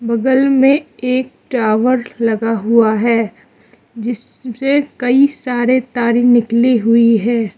बगल में एक टावर लगा हुआ है जिससे कई सारे तारें निकली हुई है।